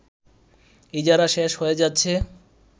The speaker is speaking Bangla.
ইজারা শেষ হয়ে যাচ্ছে